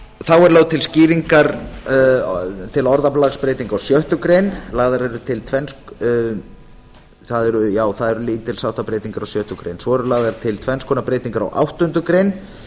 þá er lögð til til skýringar orðalagsbreyting á sjöttu grein það eru lítilsháttar breytingar á sjöttu greinar svo eru lagðar til tvenns konar breytingar á áttundu grein